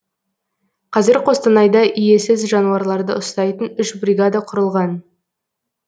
қазір қостанайда иесіз жануарларды ұстайтын үш бригада құрылған